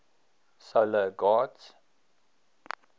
solar gods